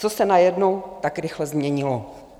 Co se najednou tak rychle změnilo?